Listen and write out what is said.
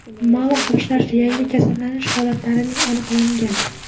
Ma’lum qilishlaricha, yangi kasallanish holatlarining aniqlangan.